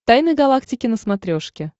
тайны галактики на смотрешке